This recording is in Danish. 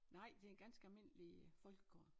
Nej det ganske almindelig folkekor